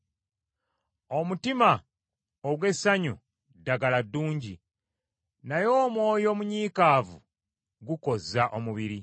Omutima ogw’essanyu ddagala ddungi, naye omwoyo omunyiikaavu gukozza omubiri.